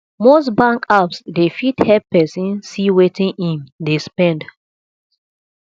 most bank apps dey fit help person see wetin im dey spend